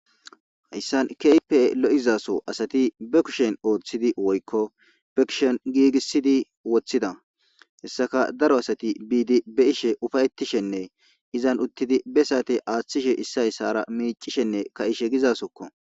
Hayssa keehippe lo7iza soho asathi be kushen ooththidi woykko be kushen giigissidi woththida; hessaka daro asathi biidi be7ishe ufayththishenne izan uththidi be saathe aaththishe issay isaara miiccishenne kaa7ishe gizaasokko.